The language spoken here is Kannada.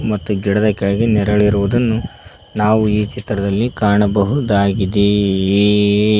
ಮತ್ತು ಗಿಡದ ಕೆಳಗೆ ನೆರಳಿರುವುದನ್ನು ನಾವು ಈ ಚಿತ್ರದಲ್ಲಿ ಕಾಣಬಹುದಾಗಿದೆ.